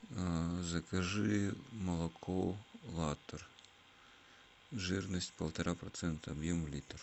закажи молоко латтер жирность полтора процента объем литр